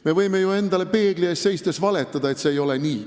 Me võime ju endale peegli ees seistes valetada, et see ei ole nii.